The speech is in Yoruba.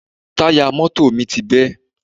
Táyà mọ́tò mi ti bẹ́